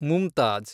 Mumtaz